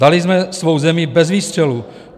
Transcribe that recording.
Dali jsme svou zemi bez výstřelu.